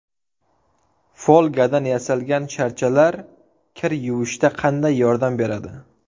Folgadan yasalgan sharchalar kir yuvishda qanday yordam beradi?.